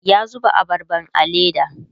ya zuba abarban a leda